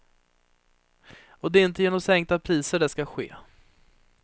Och det är inte genom sänkta priser det ska ske.